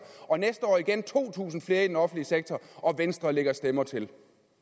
og næste år igen to tusind flere i den offentlige sektor og venstre lægger stemmer til